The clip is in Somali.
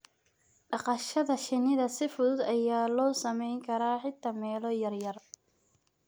dhaqashada shinnida si fudud ayaa loo samayn karaa xitaa meelo yaryar.